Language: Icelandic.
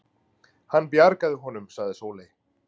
Hann bjargaði honum, sagði Sóley.